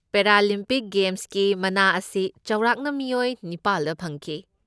Paralympic ꯒꯦꯝꯁꯀꯤ ꯃꯅꯥ ꯑꯁꯤ ꯆꯥꯎꯔꯥꯛꯅ ꯃꯤꯑꯣꯏ ꯅꯤꯄꯥꯜꯗ ꯐꯪꯈꯤ꯫